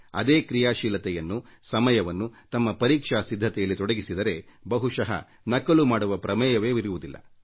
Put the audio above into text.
ಅದೇ ಕ್ರೀಯಾಶೀಲತೆಯನ್ನು ಸಮಯವನ್ನು ತಮ್ಮ ಪರೀಕ್ಷಾ ಸಿದ್ಧತೆಯಲ್ಲಿ ತೊಡಗಿಸಿದರೆ ಬಹುಶಃ ನಕಲು ಮಾಡುವ ಪ್ರಮೇಯವೇ ಇರುವುದಿಲ್ಲ